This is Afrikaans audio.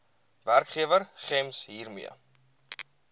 werkgewer gems hiermee